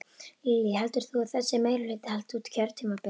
Lillý: Heldur þú að þessi meirihluti haldi út kjörtímabilið?